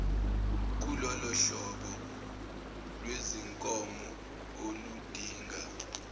kulolohlobo lwezinkomo oludinga